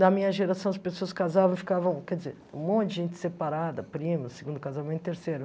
Na minha geração, as pessoas casavam e ficavam... Quer dizer, um monte de gente separada, prima, segundo casamento, terceiro.